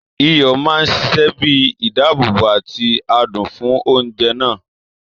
Iyọ̀ máa ṣiṣẹ bíi ìdáàbòbò àti adùn fún oúnjẹ náà.